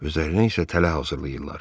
Üzərinə isə tələ hazırlayırlar.